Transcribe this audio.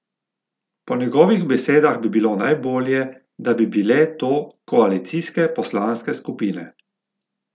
Po njegovih besedah bi bilo najbolje, da bi bile to koalicijske poslanske skupine.